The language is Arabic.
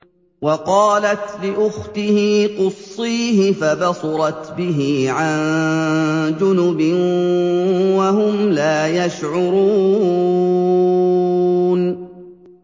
وَقَالَتْ لِأُخْتِهِ قُصِّيهِ ۖ فَبَصُرَتْ بِهِ عَن جُنُبٍ وَهُمْ لَا يَشْعُرُونَ